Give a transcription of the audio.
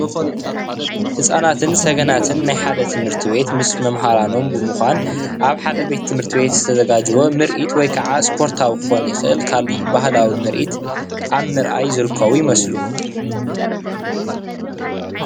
ህፃናትን ሰገናትን ናይ ሓደ ትምህርቲ ቤት ምስ መማሃራኖም ብምኳን ኣብ ሓደ ቤት ትምህርቲ ዝተዘጋጀወ ምርኢት ወይ ካዓ ስፖርታዊ ክከውን ይክእል ካልእ ባህላዊ ምርኢት ኣብ ምርአይ ዝርከቡ ይመስሉ።